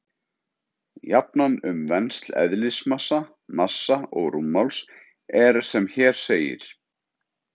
Jafnan um vensl eðlismassa, massa og rúmmáls er sem hér segir: